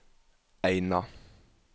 Eina